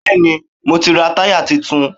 Bẹ́ẹ̀ni, mo ti ra táyà tuntun.